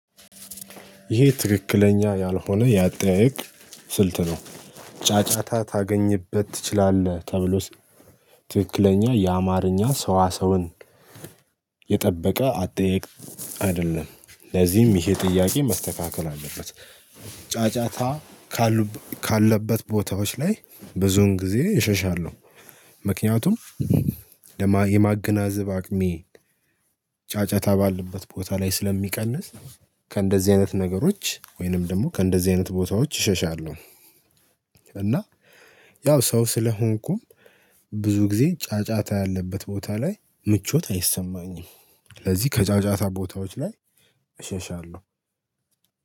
ይሄ ትክክለኛ ያልሆነ ያጠያየቅ ስልት ነው ጫጫታ ታገኝበት ትችላለህ? ተብሎስ ትክክለኛ የአማርኛ ሰዋ ሰውን የጠበቀ አጠያየቅ አይደለም። ለዚህም ይሄ ጥያቄ መስተካከል አለበት፤ ጫጫታ ካሉ ካለበት ቦታዎች ላይ ብዙን ጊዜ እሸሻለሁ። ምክንያቱም የማገናዘብ አቅሜ ጫጫታ ባለበት ቦታ ላይ ስለሚቀንስ ከእንደዚህ አይነት ነገሮች ወይንም ደግሞ ከእንደዚህ አይነት ቦታዎች እሸሻለሁ። እና ያው ሰው ስለሆንኩም ብዙ ጊዜ ጫጫታ ያለበት ቦታ ላይ ምቾት አይሰማኝም። ስለዚህ ከጫጫታ ቦታዎች ላይ እሸሻለሁ።